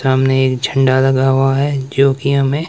सामने एक झंडा लगा हुआ है जो कि हमें--